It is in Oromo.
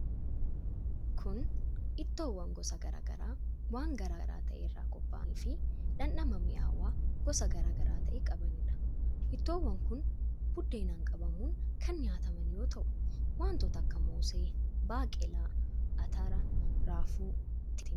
Kun, ittoowwan gosa garaa garaa waan garaa gara ta'e irraa qopha'anii fi dhandhama mi'aawaa gosa garaa garaa ta'e qabanii dha. Ittoowwan kun buddeenaan qabamuun kan nyaataman yoo ta'u, wantoota akka:moosee, baaqelaa, atara, raafuu, timaatima fi kanneen biroo irraa qopha'an.